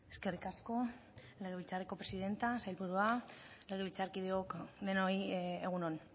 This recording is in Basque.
eskerrik asko legebiltzarreko presidentea sailburua legebiltzarkideok denoi egun on